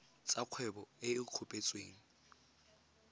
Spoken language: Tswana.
tsa kgwebo e e kopetsweng